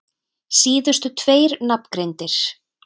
Síðustu tveir nafngreindir